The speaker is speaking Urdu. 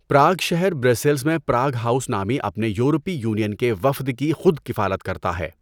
پراگ شہر برسلز میں پراگ ہاؤس نامی اپنے یورپی یونین کے وفد کی خود کفالت کرتا ہے۔